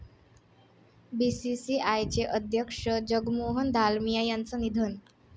बीसीसीआयचे अध्यक्ष जगमोहन दालमिया यांचं निधन